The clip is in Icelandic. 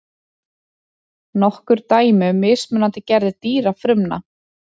nokkur dæmi um mismunandi gerðir dýrafrumna